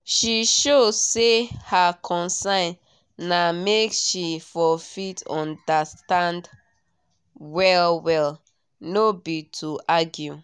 she show say her concern na make she for fit undnerstand well well nor be to argue